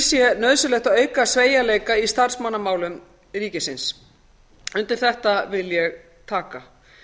sé nauðsynlegt að auka sveigjanleika í starfsmannamálum ríkisins undir þetta vil ég taka